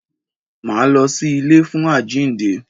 Máa lọ sí ilé fún àjínde.